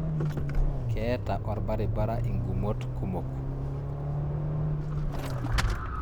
Keeta orbaribara inkumot kumok